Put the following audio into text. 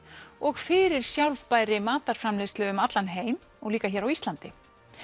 og fyrir sjálfbærri matarframleiðslu um allan heim líka hér á Íslandi